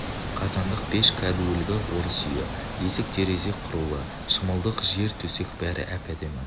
қазандық пеш кәдуілгі орыс үйі есік терезе құрулы шымылдық жер төсек бәрі әп-әдемі